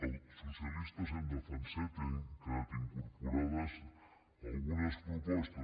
els socialistes hem defensat i hi han quedat incorporades algunes propostes